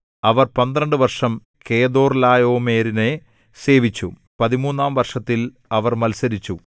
അവർ പന്ത്രണ്ട് വർഷം കെദൊർലായോമെരിനെ സേവിച്ചു പതിമൂന്നാം വർഷത്തിൽ അവർ മത്സരിച്ചു